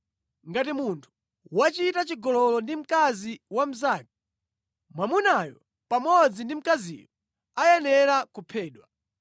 “ ‘Ngati munthu wachita chigololo ndi mkazi wa mnzake, mwamunayo pamodzi ndi mkaziyo ayenera kuphedwa.